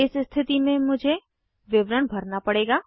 इस स्थिति में मुझे विवरण भरना पड़ेगा